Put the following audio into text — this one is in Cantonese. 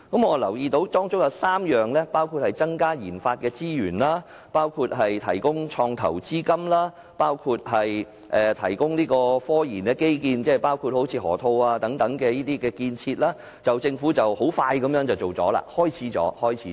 我留意到當中提到增加研發資源、提供創投資金及提供科研基建，例如河套地區的建設，政府很快便已展開這3方面的工作。